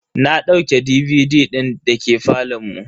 Na dauke DVD din da ke falon mu.